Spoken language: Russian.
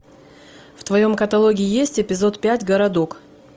в твоем каталоге есть эпизод пять городок